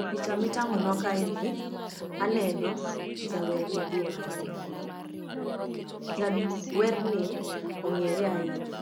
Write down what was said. E picha mitang'o nwa kae ni aneno jawer maduong' ahinya. Jawerni ong'ere ahinya